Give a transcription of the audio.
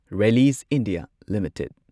Reliance India limited